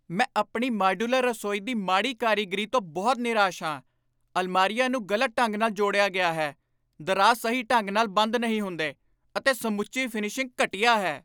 ਮੈਂ ਆਪਣੀ ਮਾਡਿਊਲਰ ਰਸੋਈ ਦੀ ਮਾੜੀ ਕਾਰੀਗਰੀ ਤੋਂ ਬਹੁਤ ਨਿਰਾਸ਼ ਹਾਂ। ਅਲਮਾਰੀਆਂ ਨੂੰ ਗਲਤ ਢੰਗ ਨਾਲ ਜੋੜਿਆ ਗਿਆ ਹੈ, ਦਰਾਜ਼ ਸਹੀ ਢੰਗ ਨਾਲ ਬੰਦ ਨਹੀਂ ਹੁੰਦੇ, ਅਤੇ ਸਮੁੱਚੀ ਫਿਨਿਸ਼ਿੰਗ ਘਟੀਆ ਹੈ।